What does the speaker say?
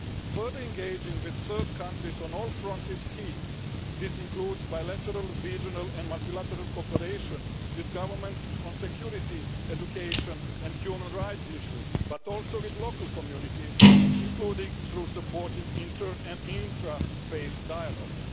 Further engaging with third countries on all fronts is key this includes bilateral, regional and multilateral cooperation with governments on security, education and human rights issues, but also with local communities, including through supporting inter and intra faith dialogues.